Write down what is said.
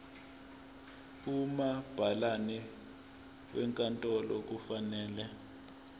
umabhalane wenkantolo kufanele